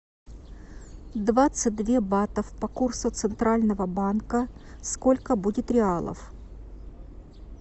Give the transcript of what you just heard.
двадцать две батов по курсу центрального банка сколько будет реалов